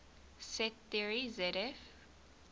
set theory zf